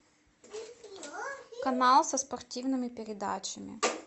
канал со спортивными передачами